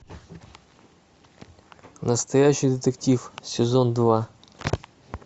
настоящий детектив сезон два